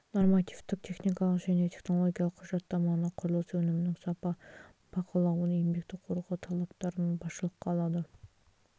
нормативтік техникалық және технологиялық құжаттаманы құрылыс өнімінің сапа бақылауын еңбекті қорғау талаптарын басшылыққа алады